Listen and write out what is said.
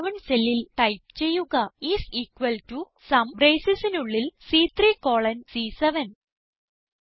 C11 സെല്ലിൽ type ചെയ്യുക is equal to sum braceനുള്ളിൽ സി3 കോളൻ സി7